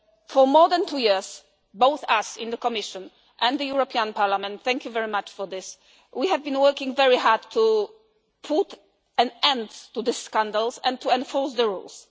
For more than two years both we in the Commission and the Parliament thank you very much for this have been working very hard to put an end to the scandals and enforce the rules.